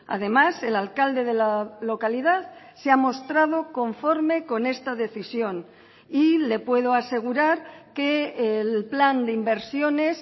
además el alcalde de la localidad se ha mostrado conforme con esta decisión y le puedo asegurar que el plan de inversiones